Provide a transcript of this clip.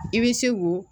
I bɛ se k'o